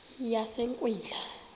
yasekwindla